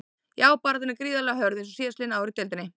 Já baráttan er gríðarlega hörð eins og síðastliðin ár í deildinni.